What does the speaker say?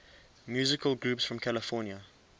musical groups from california